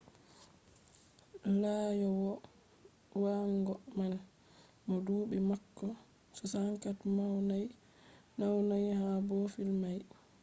laaƴowo waagon man mo duɓi maako 64 naunai ha boofil mai